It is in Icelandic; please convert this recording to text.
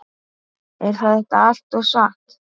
Er þetta allt saman satt?